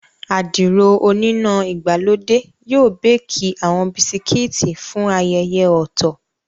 Àdìrò oníná ìgbàlódé yóò béékì àwọn Bisikíìtì fún ayẹyẹ ọ̀tọ̀